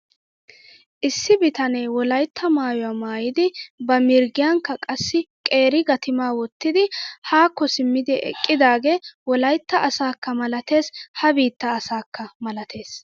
Issi bitanee wolaytta maayuwaa maayidi ba mirggiyankka qassi qeeri gatimaa wottidi haakko simmidi eqqidaagee wolaytta asakka malates ha biitta asakka malates.